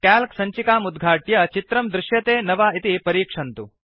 calc सञ्चिकाम् उद्घाट्य चित्रं दृश्यते न वा इति परीक्षन्तु